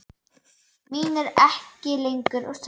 Mín er ekki lengur þörf.